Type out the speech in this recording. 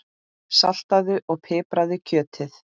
Saltaðu og pipraðu kjötið.